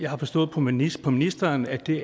har forstået på ministeren ministeren at det